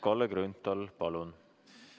Kalle Grünthal, palun!